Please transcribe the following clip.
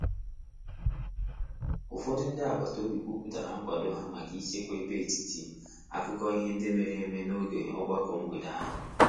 Ụfọdụ ndị agbata obi kwupụtara nkwado ha maka ịchekwa ebe etiti akụkọ ihe nde mere eme n’oge ogbako mgbede ahụ.